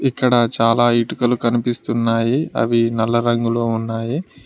ఇక్కడ చాలా ఇటుకలు కనిపిస్తున్నాయి అవి నల్ల రంగులో ఉన్నాయి.